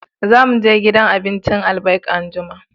Za mu je gidan abincin Albaik anjima